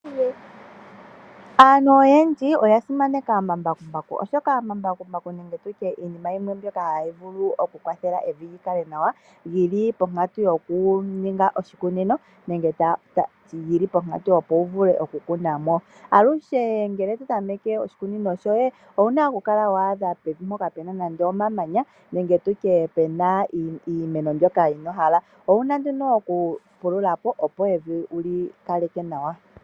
Aantu oyendji oya simaneka omambakumbaku, oshoka omambakumbaku nenge tutye iinima yimwe mboka hayi vulu okukwathela evi lyikale nawa lyili ponkantu yokuninga oshikunino, nenge lyili ponkantu wu vule okukala wakunamo. Alushe ngele totameke oshikunino shoye, owuna okukala waadha pevi mpoka pena nando omamanya nenge tutye pena iimeno mbyoka ino hala, owuna nduno okupululapo opo evi wuli kaleke nawa.